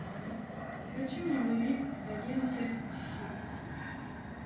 включи мне боевик агенты щит